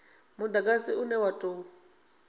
mudagasi une wa u tou